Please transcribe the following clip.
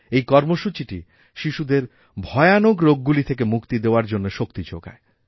এই কর্মসূচিটি শিশুদের ভয়ানক রোগগুলি থেকে মুক্তিদেওয়ার জন্য শক্তি যোগায়